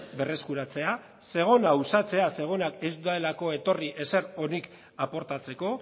berreskuratzea zegona uxatzea zegonak ez delako etorri ezer onik aportatzeko